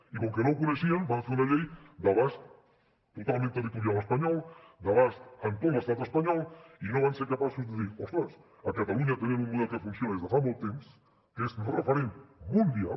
i com que no ho coneixien van fer una llei d’abast totalment territorial espanyol d’abast en tot l’estat espanyol i no van ser capaços de dir ostres a catalunya tenen un model que funciona des de fa molt temps que és referent mundial